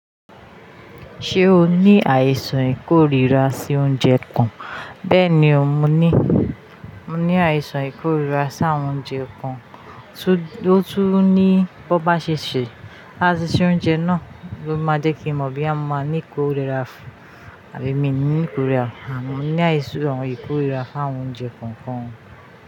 Ṣé o ní àìsàn ìkórira sí oúnjẹ kàn? Bẹ́ẹ̀ni ò mo ní, mo ní àìsàn ìkórira sí àwọn oúnjẹ kan, tó, tó tún ní bón bá ṣe sè, bón bá se ṣe oúnjẹ náà, ló máa jẹ́ kí n mọ bọ́yá máa ní ìkórira àbí mi ní ìkórira, mò ń ní àìsàn ìkórira fún àwọn oúnjẹ kọ̀ọ̀kan.